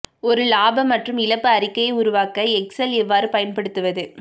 ஒரு இலாப மற்றும் இழப்பு அறிக்கையை உருவாக்க எக்செல் எவ்வாறு பயன்படுத்துவது